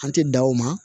An tɛ da o ma